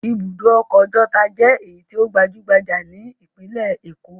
Ibùdó ọkọ̀ Ọjọ́ta ni ọ̀kan lára àwọn tó gbajú-gbajà nílùú Èkó.